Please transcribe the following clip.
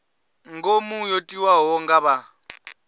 ngomu yo tiwaho nga vha